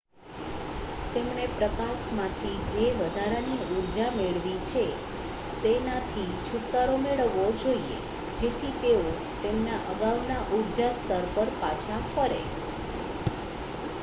તેમણે પ્રકાશમાંથી જે વધારાની ઊર્જા મેળવી છે તેનાથી છુટકારો મેળવવો જોઈએ જેથી તેઓ તેમના અગાઉના ઊર્જા સ્તર પર પાછા ફરે